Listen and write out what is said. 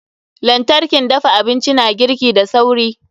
lantarkin dafa abinci na girki da sauri.